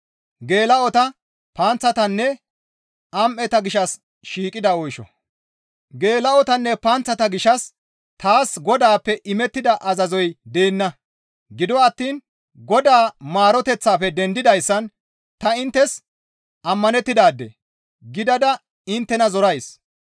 Geela7otanne panththata gishshas taas Godaappe imettida azazoy deenna; gido attiin Godaa maaroteththafe dendidayssan ta inttes ammanettidaade gidada inttena zorays.